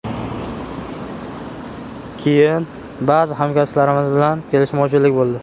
Keyin ba’zi hamkasblarimiz bilan kelishmovchiliklar bo‘ldi.